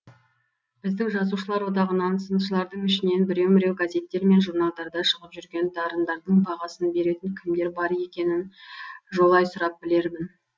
біздің жазушылар одағынан сыншылардың ішінен біреу міреу газеттер мен журналдарда шығып жүрген дарындардың бағасын беретін кімдер бар екенін жолай сұрап білермін